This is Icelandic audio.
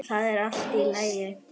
Það er allt í lagi